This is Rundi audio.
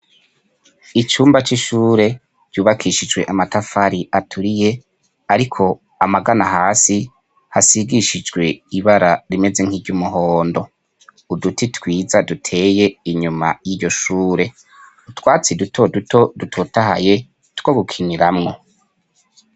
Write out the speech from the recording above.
icyumba c'ishure yubakishijwe amatafari aturiye ariko amagana hasi hasigishijwe ibara rimeze nk'iry'umuhondo uduti twiza duteye inyuma y'iyo shure utwatsi duto duto dutotahaye twogukinyiramwo.